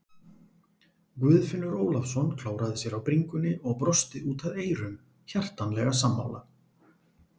Guðfinnur Ólafsson klóraði sér á bringunni og brosti út að eyrum, hjartanlega sammála.